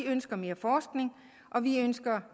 ønsker mere forskning og vi ønsker